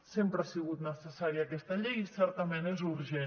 sempre ha sigut necessària aquesta llei i certament és urgent